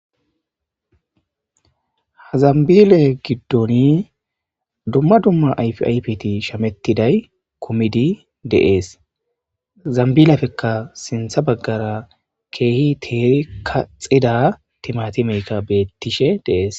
Ha zambile giddoni dumma dumma ayfi aypiti shamettiday komidi deees zambilepfekka sintha baggara keehi teeri kaxida timati meyka beettishe deees.